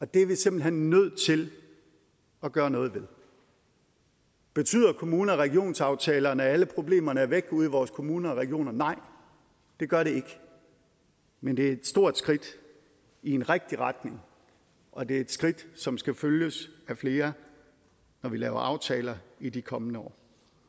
det er vi simpelt hen nødt til at gøre noget ved betyder kommune regionsaftalerne at alle problemerne er væk ude i vores kommuner og regioner nej det gør de ikke men de er et stort skridt i den rigtige retning og det er et skridt som skal følges af flere når vi laver aftaler i de kommende år